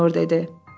Mayor dedi.